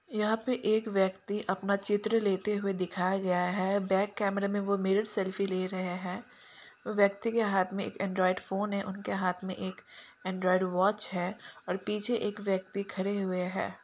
यहाँ पे एक व्यक्ति अपना चित्र लेते हुए दिखाया गया है बैक कैमरा में वो मिरर सेल्फी ले रहे है व्यक्ति के हाथ में एक एंड्राइड फ़ोन है उनके हाथ में एक एंड्राइड वाच है और पीछे एक व्यक्ति खड़े हुए है।